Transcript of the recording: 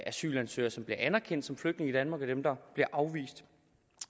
asylansøgere som bliver anerkendt som flygtninge i danmark og dem der bliver afvist